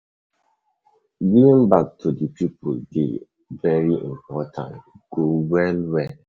Giving um back to di people dey um very important, e goo well well.